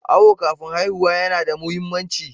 Awo kafin haihuwa yana da muhimmanci.